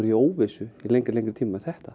í óvissu í lengri lengri tíma með þetta